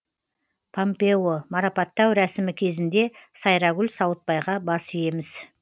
пампео марапаттау рәсімі кезінде сайрагүл сауытбайға бас иеміз